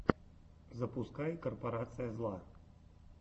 запускай корпорация зла